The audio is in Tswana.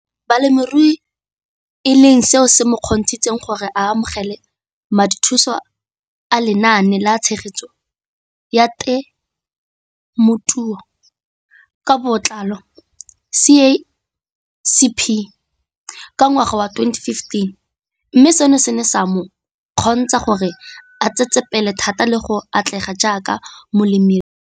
Balemirui e leng seo se mo kgontshitseng gore a amogele madithuso a Lenaane la Tshegetso ya Te mothuo ka Botlalo, CASP] ka ngwaga wa 2015, mme seno se ne sa mo kgontsha gore a tsetsepele thata le go atlega jaaka molemirui.